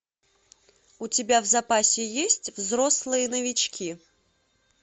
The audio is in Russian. у тебя в запасе есть взрослые новички